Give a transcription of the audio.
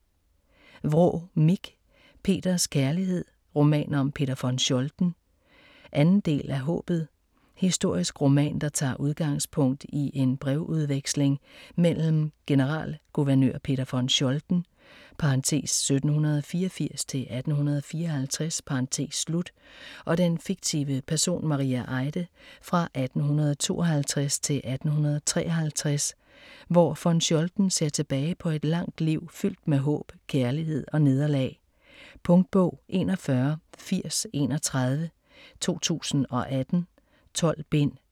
Vraa, Mich: Peters kærlighed: roman om Peter von Scholten 2. del af Haabet. Historisk roman, der tager udgangspunkt i en brevudveksling mellem generalguvernør Peter von Scholten (1784-1854) og den fiktive person Maria Eide fra 1852 til 1853, hvor von Scholten ser tilbage på et langt liv fyldt med håb, kærlighed og nederlag. Punktbog 418031 2018. 12 bind.